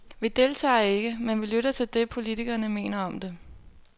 Vi deltager ikke, men vi lytter til det, politikkerne mener om det.